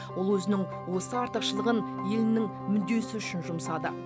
ол өзінің осы артықшылығын елінің мүддесі үшін жұмсады